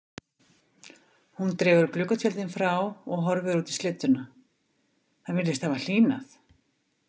Hún dregur gluggatjöldin frá og horfir út í slydduna, það virðist hafa hlýnað.